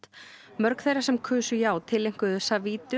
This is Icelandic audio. mörg þeirra sem kusu já tileinkuðu